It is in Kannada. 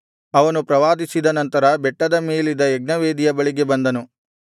ಅವನು ಪ್ರವಾದಿಸಿದ ನಂತರ ಬೆಟ್ಟದ ಮೇಲಿದ್ದ ಯಜ್ಞವೇದಿಯ ಬಳಿಗೆ ಬಂದನು